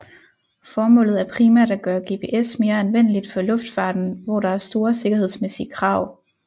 Formålet er primært at gøre GPS mere anvendeligt for luftfarten hvor der er store sikkerhedsmæssige krav